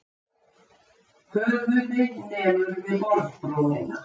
Höfuðið nemur við borðbrúnina.